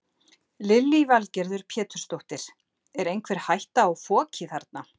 Lillý Valgerður Pétursdóttir: Er einhver hætta á foki þarna?